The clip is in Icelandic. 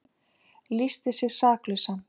Lýsti sig saklausan